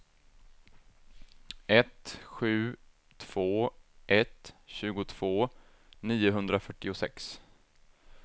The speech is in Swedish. ett sju två ett tjugotvå niohundrafyrtiosex